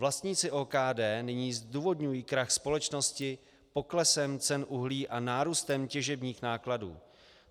Vlastníci OKD nyní zdůvodňují krach společnosti poklesem cen uhlí a nárůstem těžebních nákladů.